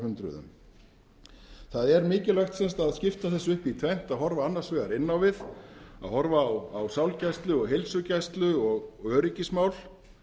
árhundruðum það er mikilvægt að skipta þessu upp í tvennt að horfa annars vegar inn á við að horfa á sálgæslu og heilsugæslu og öryggismál